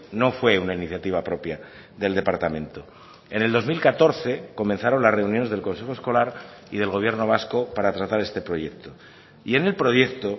no fue una iniciativa propia del departamento en el dos mil catorce comenzaron las reuniones del consejo escolar y del gobierno vasco para tratar este proyecto y en el proyecto